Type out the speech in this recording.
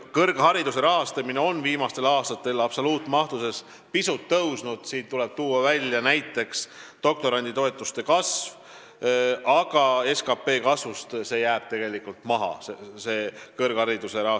Kõrghariduse rahastamine on viimastel aastatel absoluutmahtudes pisut tõusnud – siin tuleb nimetada näiteks doktoranditoetuste kasvu –, aga SKT kasvust jääb kõrghariduse rahastamise kasv tegelikult maha.